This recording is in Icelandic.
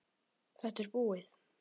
Þetta er búið.